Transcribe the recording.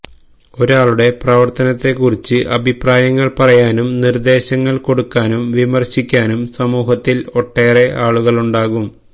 ഒരാളുടെ പ്രവർത്തനത്തെക്കുറിച്ച് അഭിപ്രായങ്ങൾ പറയാനും നിർദേശങ്ങൾ കൊടുക്കാനും വിമർശിക്കാനും സമൂഹത്തിൽ ഒട്ടേറെ ആളുകളുണ്ടാകും